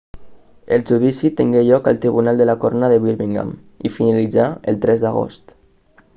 el judici tingué lloc al tribunal de la corona de birmingham i finalitzà el 3 d'agost